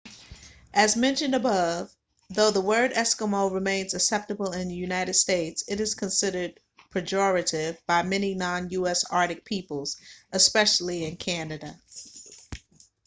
as mentioned above though the word eskimo remains acceptable in the united states it is considered pejorative by many non-u.s. arctic peoples especially in canada